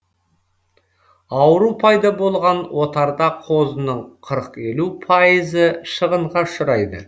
ауру пайда болған отарда қозының қырық елу пайызы шығынға ұшырайды